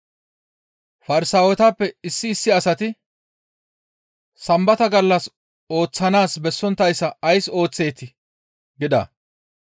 Farsaawetappe issi issi asati, «Sambata gallas ooththanaas bessonttayssa ays ooththeetii?» gida.